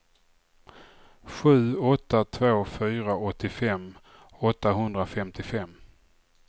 sju åtta två fyra åttiofem åttahundrafemtiofem